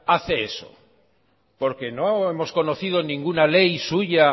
hace eso porque no hemos conocido ninguna ley suya